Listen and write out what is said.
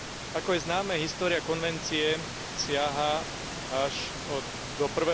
Ako je známe, história konvencie siaha až do